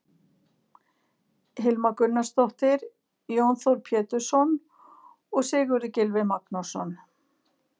Hilma Gunnarsdóttir, Jón Þór Pétursson og Sigurður Gylfi Magnússon.